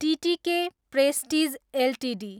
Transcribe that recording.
TTK Prestige Ltd